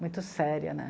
Muito séria, né?